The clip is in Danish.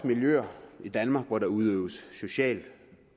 miljøer i danmark hvor der udøves social